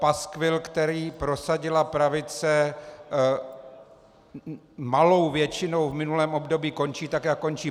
Paskvil, který prosadila pravice malou většinou v minulém období, končí tak, jak končí.